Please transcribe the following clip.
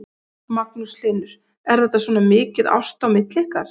Magnús Hlynur: Er þetta svona mikið ást á milli ykkar?